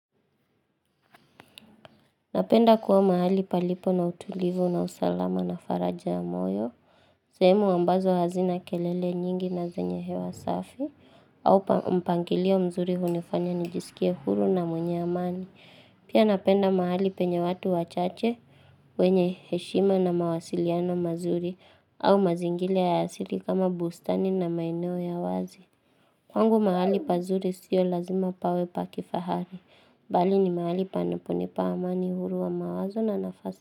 Napenda kuwa mahali palipo na utulivu na usalama na faraja ya moyo. Seemu ambazo hazina kelele nyingi na zenye hewa safi. Aupa mpangilio mzuri hunifanya nijisikie huru na mwenye amani. Pia napenda mahali penye watu wachache. Wenye heshima na mawasiliano mazuri. Au mazingile ya asili kama bustani na maeneo ya wazi. Kwangu mahali pazuri sio lazima pawe pakifahari. Bali ni maali panaponipa amani huru wa mawazo na nafas.